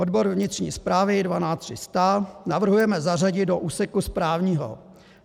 Odbor vnitřní správy 12300 navrhujeme zařadit do úseku správního.